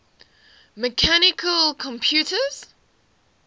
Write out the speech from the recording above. mechanical computers